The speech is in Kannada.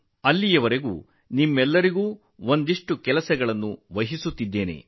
ಆದರೆ ಅಲ್ಲಿಯವರೆಗೆ ನಿಮ್ಮೆಲ್ಲರಿಗೂ ಒಂದಿಷ್ಟು ಕೆಲಸವನ್ನು ನಿಯೋಜಿಸುತ್ತಿದ್ದೇನೆ